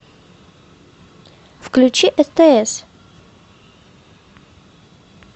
включи стс